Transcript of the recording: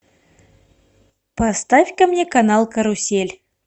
поставь ка мне канал карусель